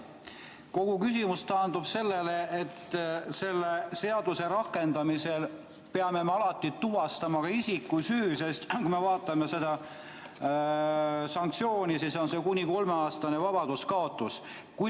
Kogu küsimus taandub sellele, et selle seaduse rakendamisel peame me alati tuvastama isiku süü, sest kui me vaatame seda sanktsiooni, siis näeme, et see on kuni kolmeaastane vabadusekaotus.